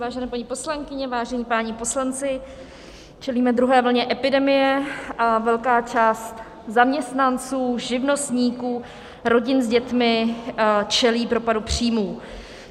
Vážené paní poslankyně, vážení páni poslanci, čelíme druhé vlně epidemie a velká část zaměstnanců, živnostníků, rodin s dětmi čelí propadu příjmů.